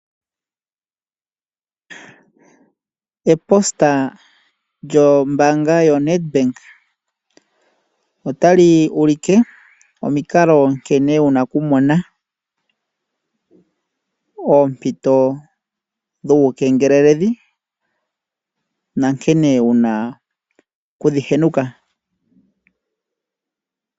Eposta lyombaanga yoNedbank otali ulike omikalo nkene wu na okumona oompito dhuukengeleledhi nankene wu na okudhi henuka.